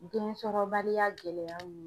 Densɔrɔbaliya gɛlɛyaw ye.